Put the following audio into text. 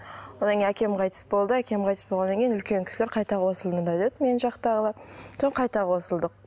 одан кейін әкем қайтыс болды әкем қайтыс болғаннан кейін үлкен кісілер қайта қосылыңдар деді мен жақтағылар қайта қосылдық